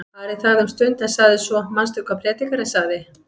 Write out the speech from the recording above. Ari þagði um stund en sagði svo: Manstu hvað Predikarinn segir?